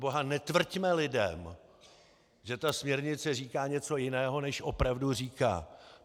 Proboha, netvrďme lidem, že ta směrnice říká něco jiného, než opravdu říká!